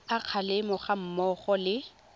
a kgalemo ga mmogo le